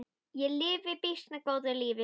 Ég lifi býsna góðu lífi!